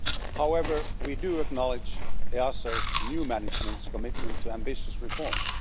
However, we do acknowledge EASO's new management's commitment to ambitious reforms.